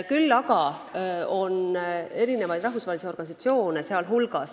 Küll aga on rahvusvahelisi organisatsioone, kes seda teevad.